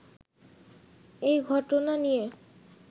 এই ঘটনা নিয়ে